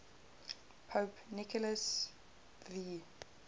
pope nicholas v